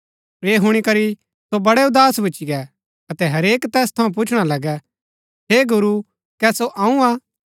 ऐह हुणी करी सो वडै़ उदास भूच्ची गै अतै हरेक तैस थऊँ पुछणा लगा हे गुरू कै सो अऊँ हा